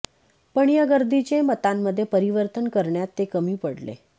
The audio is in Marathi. पण या गर्दीचे मतांमध्ये परिवर्तन करण्यात ते कमी पडले